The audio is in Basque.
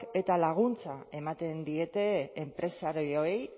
eta laguntza ematen diete enpresariei